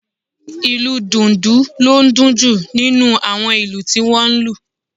Ìlù Dùndu ló dún jù nínú àwọn ìlù tí wọ́n lù